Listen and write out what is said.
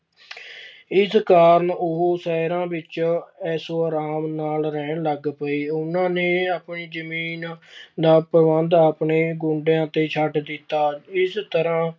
ਇਸ ਕਾਰਨ ਉਹ ਸ਼ਹਿਰਾਂ ਵਿੱਚ ਐਸੋ ਆਰਾਮ ਨਾਲ ਰਹਿਣ ਲੱਗ ਪਏ, ਉਹਨਾਂ ਨੇ ਆਪਣੀ ਜ਼ਮੀਨ ਦਾ ਪ੍ਰਬੰਧ ਆਪਣੇ ਗੁੰਡਿਆਂ ਤੇ ਛੱਡ ਦਿੱਤਾ, ਇਸ ਤਰ੍ਹਾਂ